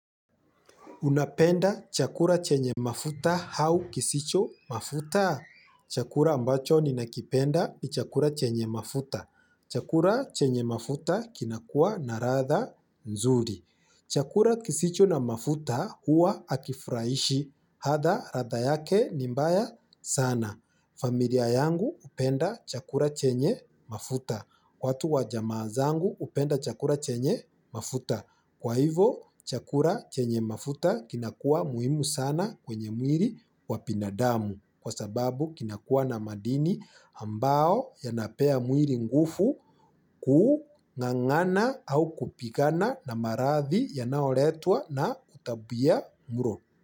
Unapenda chakula chenye mafuta au kisicho mafuta? Chakula ambacho ninakipenda ni chakula chenye mafuta. Chakula chenye mafuta kinakuwa na ladha nzuri. Chakula kisicho na mafuta huwa hakifurahishi. Hata ladha yake ni mbaya sana. Familia yangu upenda chakura chenye mafuta. Watu wajamaa zangu hupenda chakula chenye mafuta. Kwa hivo chakula chenye mafuta kinakua muhimu sana kwenye mwili wabinadamu kwa sababu kinakua na madini ambayo yanapea mwili nguvu kuu ngangana au kupigana na marathi yanayoletwa na utabia mlo.